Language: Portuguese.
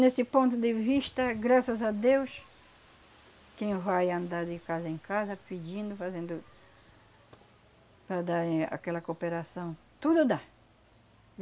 Nesse ponto de vista, graças a Deus, quem vai andar de casa em casa pedindo, fazendo... para darem aquela cooperação, tudo dá.